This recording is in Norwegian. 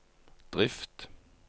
drift